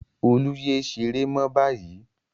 Olú yé ṣeré mọ́ báyìí!